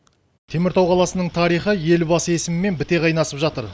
теміртау қаласының тарихы елбасы есімімен біте қайнасып жатыр